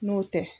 N'o tɛ